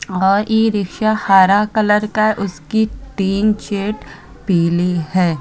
और e rickshaw हरा colour का । उसकी टीन शेड पीली है।